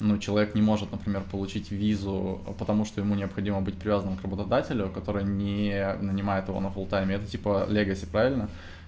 ну человек не может например получить визу потому что ему необходимо быть привязанным к работодателю который не нанимает его на фуллтайме это типа легаси правильно